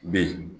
Bɛ yen